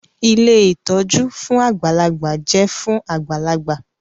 Ilé ìtọ́jú fún àgbàlagbà jẹ́ fún àgbàlagbà